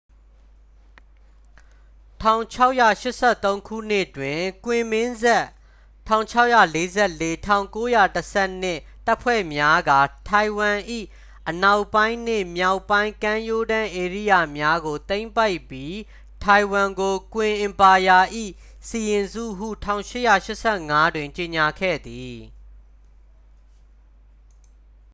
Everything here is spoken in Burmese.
၁၆၈၃ ခုနှစ် တွင် ကွင်မင်းဆက် ၁၆၄၄-၁၉၁၂ တပ်ဖွဲ့များက ထိုင်ဝမ်၏ အနောက်ပိုင်းနှင့် မြောက်ပိုင်း ကမ်းရိုးတန်းဧရိယာများကို သိမ်းပိုက်ပြီး ထိုင်ဝမ်ကို ကွင်အင်ပါယာ၏ စီရင်စုဟု ၁၈၈၅ တွင် ကြေညာခဲ့သည်။